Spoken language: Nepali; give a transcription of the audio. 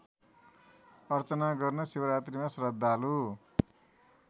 अर्चना गर्न शिवरात्रीमा श्रद्धालु